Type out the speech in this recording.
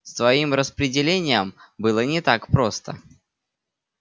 с твоим распределением было не так просто